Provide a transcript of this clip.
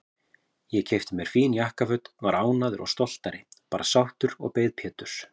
Ég keypti mér fín jakkaföt, var ánægður og stoltur, bara sáttur, og beið Péturs.